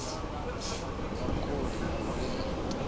na khuli na u reila